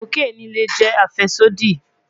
Kokeni le jẹ afẹsodi